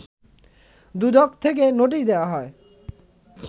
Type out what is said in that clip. দুদক থেকে নোটিশ দেয়া হয়